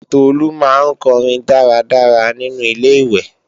Tolu máa ń kọrin dára dára nínu Ilé-ìwẹ̀